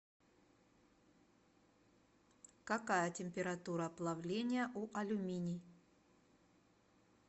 какая температура плавления у алюминий